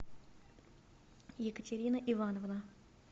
екатерина ивановна